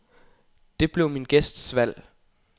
Det blev min gæsts valg.